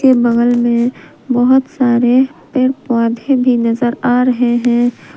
बगल में बहुत सारे पेड़ पौधे भी नजर आ रहे हैं।